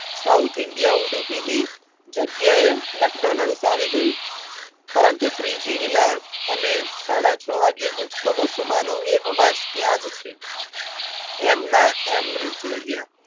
south India ઉડુપીની જગ્યાએ McDonald's આવી ગયું પરંતુ શ્રીજી વિલા અને સાડા છ વાગે ગુજતો વસુ માનો એ અવાજ ત્યાં જ છે એમના એમ જ રહ્યા